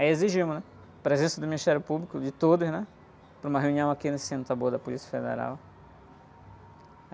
Aí exigimos, né? A presença do Ministério Público, de todos, né? Para uma reunião aqui no da Polícia Federal.